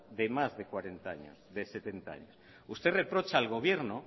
de más setenta años usted reprocha al gobierno